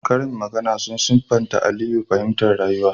Karin magana sun siffata Aliyu fahimtar rayuwa